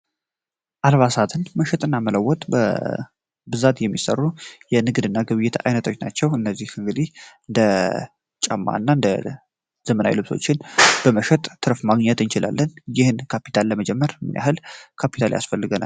አልባሳትን መሸጥ እና መለወት በብዛት የሚሰሩ የንግድ እና ግብየተ አይነቶች ናቸው። እነዚህ እግዲህ እንደ ጨማ እና እንደ ዘመናዊ ልብሶችን በመሸጥ ትረፍ ማግኘት እኝችላለን ይህን ካፒታል ለመጀመር ምንያህል ካፒታል ያስፈልግው።